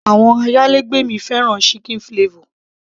àwọn ayálégbé mi fẹ́ràn chicken flavor